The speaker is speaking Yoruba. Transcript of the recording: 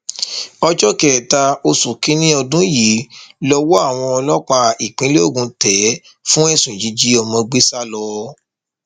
ọjọ kẹta oṣù kìnínní ọdún yìí lowó àwọn ọlọpàá ìpínlẹ ogun tẹ ẹ fún ẹsùn jíjí ọmọ gbé sá lọ